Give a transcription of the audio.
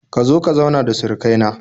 Ka zo ka zauna da surukai na